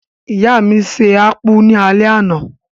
ìyá mi se akpu ní alé àná.